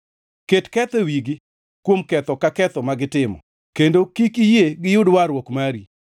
Ket ketho e wigi kuom ketho ka ketho ma gitimo; kendo kik iyie giyud warruok mari.